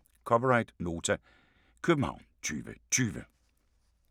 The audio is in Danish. (c) Nota, København 2020